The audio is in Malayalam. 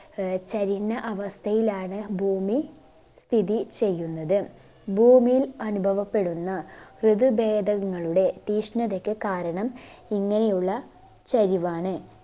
ആഹ് ചരിഞ്ഞ അവസ്ഥയിലാണ് ഭൂമി സ്ഥിതി ചെയ്യുന്നത്. ഭൂമിയിൽ അനുഭവപ്പെടുന്ന ഋതു ബേധങ്ങളുടെ തീഷ്ണതക്ക് കാരണം ഇങ്ങനെയുള്ള ചരിവാണ്.